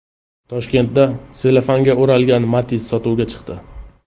Toshkentda sellofanga o‘ralgan Matiz sotuvga chiqdi .